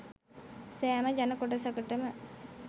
සෑම ජන කොටසකටම